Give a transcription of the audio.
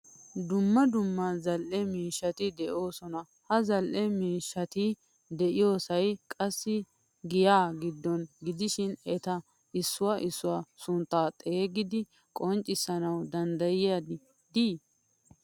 Dumma dumma zal'ee miishshatti deososona. Ha zal'ee miishshatti de'iyosay qassi giyaa giddon gidishin eta issuwaa issuwaa suntta xeegidi qonccisanawu dandadiyay de'i?